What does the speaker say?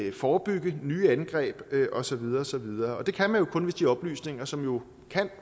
og forebygge nye angreb og så videre og så videre det kan man jo kun hvis de oplysninger som jo